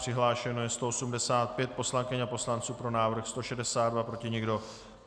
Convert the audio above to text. Přihlášeno je 185 poslankyň a poslanců, pro návrh 162, proti nikdo.